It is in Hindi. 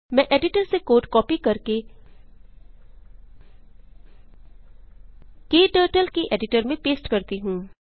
मैं एडिटर से कोड कॉपी करके क्टर्टल के एडिटर में पेस्ट करती हूँ